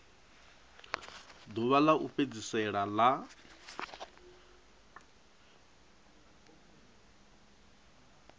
ḓuvha ḽa u fhedzisela ḽa